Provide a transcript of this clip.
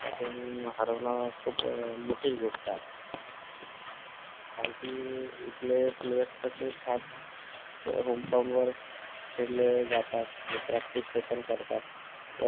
आता त्यांना हारावण खूप मोठी गोष्ट आहे कारण कि इथले players तसे ह्याच home town वर खेळले जातात आणि practice session करतात तर